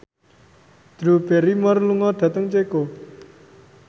Drew Barrymore lunga dhateng Ceko